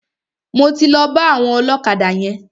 Mo ti lọ bá àwọn ọlọ́kadà yẹn.